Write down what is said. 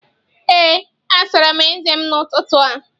Ee, asara m eze m n'ụtụtụ a